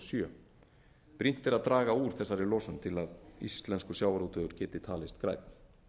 sjö brýnt er að draga úr þessari losun til að sjávarútvegur íslendinga geti talist grænn